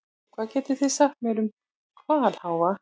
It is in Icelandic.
Hvað getið þið sagt mér um hvalháfa?